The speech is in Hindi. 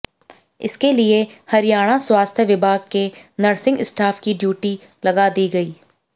इसके लिए हरियाणा स्वास्थ्य विभाग के नर्सिंग स्टाफ की ड्यूटी लगा दी गई